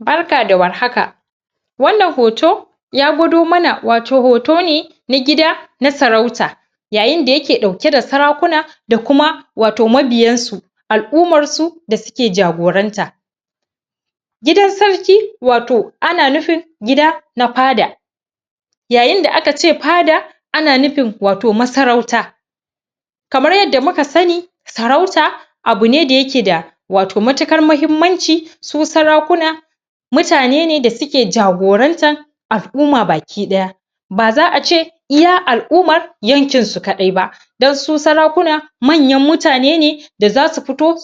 barka da warhaka wannan hoto ya gwado mana wato hoto ne na gida na sarauta yayin da yake dauke da sarakuna da kuma wato mabiyansu aj'umma su da suke jagoran ta gidan sarki wato ana nufin gida na fada yayin da aka ce fada ana nufin wayo masarauta kamar yadda muka sani sarauta abu ne da yake da wato matukar mahimmanci su sarakuna mutane ne da suke jagoranta al'umma baki daya ba za a ce iya al'ummar yankinsu kadai ba dan su sarakuna manyan mutane ne da za su fito